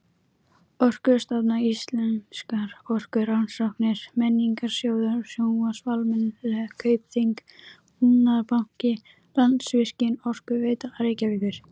Orkustofnun, Íslenskar orkurannsóknir, Menningarsjóður, Sjóvá-Almennar, Kaupþing-Búnaðarbanki, Landsvirkjun, Orkuveita Reykjavíkur